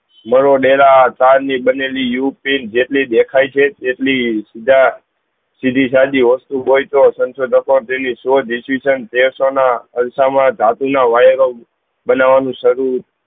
મરો નેના બનેલી ઉપીન જેટલી દેખાય છે તેટલી સુધા સધી સાધી વસ્તુ હોય તો સંસોધકો daily સાસુ decision સૌ ના અલ્સ માં ધાતુ મા બનવાનું શરુ